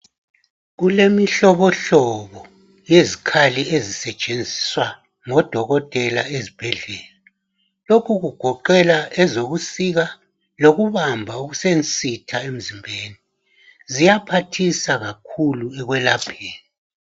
Kule mihlobohlobo yezikhali ezisetshenziswa ngo dokotela ezibhedlela. Lokhu kugoqela ezokusika lokubamba okusensitha emzimbeni. Ziyaphathisa kakhulu ekwelapheni.